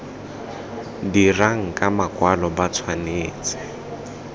dirang ka makwalo ba tshwanetse